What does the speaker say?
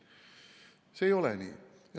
See ei ole nii.